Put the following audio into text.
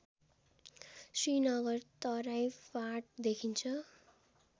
श्रीनगर तराई फाँट देखिन्छ